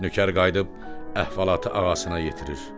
Nökər qayıdıb əhvalatı ağasına yetirir.